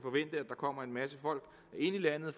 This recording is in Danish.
kommer en masse folk ind i landet